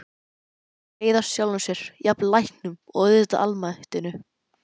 Reiðast sjálfum sér, jafnvel læknum- og auðvitað almættinu.